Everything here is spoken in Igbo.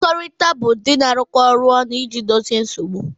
Mmekọrịta bụ ụdị na-arụkọ ọrụ ọnụ iji dozie nsogbu